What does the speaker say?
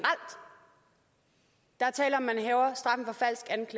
er tale om